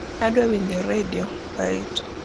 adwa winjo redio mbaitu